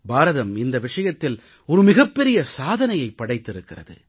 பாரதம் இந்த விஷயத்தில் மிகப் பெரிய சாதனையைப் படைத்திருக்கிறது